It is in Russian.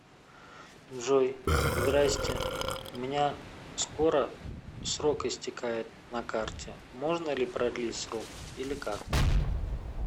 джой здрастье у меня скоро срок истекает на карте можно ли продлить срок или как